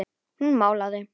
Hún málaði.